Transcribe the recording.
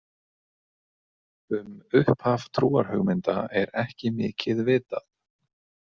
Um upphaf trúarhugmynda er ekki mikið vitað.